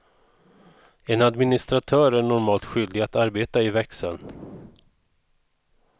En administratör är normalt skyldig att arbeta i växeln.